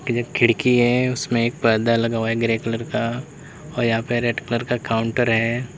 एक खिड़की है उसमें एक पर्दा लगा हुआ है ग्रे कलर का और यहां पे रेड कलर का काउंटर है।